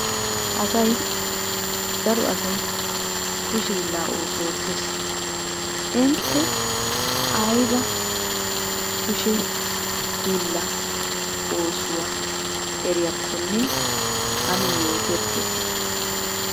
Asay daro asay kushe hiillaa oosuwa oottes. Intte ayba kushe hiillaa oosuwa eriyaakkonne ane yooterkketi?